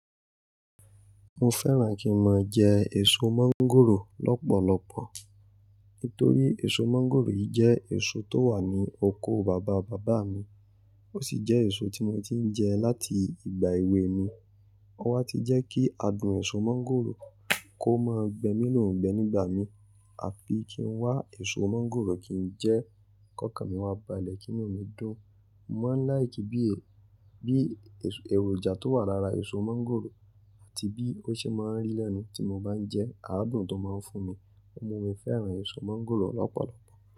Mo fẹ́ràn kí n máa jẹ èso mọ́ńgòrò lọ́pọ̀lọpọ̀ nítorí èso mọ́ngòrò yìí jẹ́ èso tó wà ní oko bàbá bàbá mi ó sì jẹ́ èso tí mo ti ń jẹ láti ìgbà èwe mi. Ó wá ti jẹ́ kí adùn èso mọ́ńgòrò kó máa gbẹ mí lóùngbẹ nígbà míì àfi kí n wá èso mọ́ńgòrò kí n jẹẹ́, kọ́kàn mi wá balẹ̀ kínú mi dùn. Mo máa ń like bí e, bí èròjà tó wà lára èso mọ́ńgòrò àti bí ó ṣe máa ń rí lẹ́nu tí mo bá ń jẹẹ́, àádùn tó máa ń fún mi. Ọmọ mi fẹ́ràn èso mọ́ngòrò lọ́pọ̀lọpọ̀